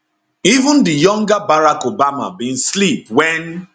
even di younger barack obama bin slip wen